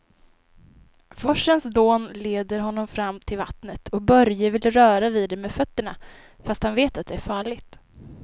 Forsens dån leder honom fram till vattnet och Börje vill röra vid det med fötterna, fast han vet att det är farligt.